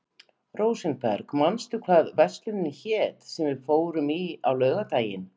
Rósenberg, manstu hvað verslunin hét sem við fórum í á laugardaginn?